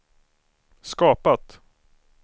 skapat